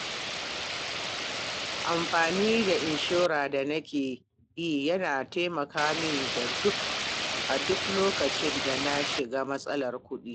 Amfani da inshora da nake yi yana taimaka min a duk lokacin da na shiga matsalar kuɗi.